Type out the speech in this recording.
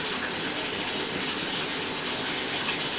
ancient greek cities